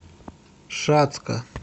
шацка